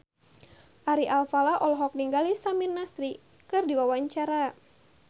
Ari Alfalah olohok ningali Samir Nasri keur diwawancara